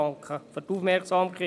Ich danke für die Aufmerksamkeit.